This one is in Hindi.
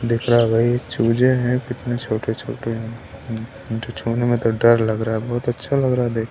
दिख रहा है भाई चूजे हैं कितने छोटे-छोटे हैं छूने में तो डर लग रहा है बहुत अच्छा लग रहा है देख--